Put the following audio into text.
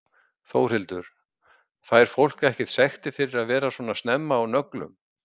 Þórhildur: Fær fólk ekkert sektir fyrir að vera svona snemma á nöglum?